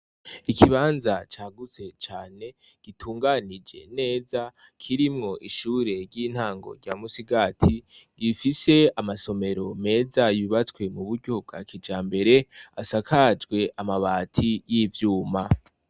Ikibanza cagutse cane gitunganije neza; kirimwo ishure ry'intango rya Musigati, gifise amasomero meza yubatswe mu buryo bwa kijambere, asakajwe amabati y'ivyuma.